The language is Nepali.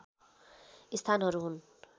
स्थानहरू हुन्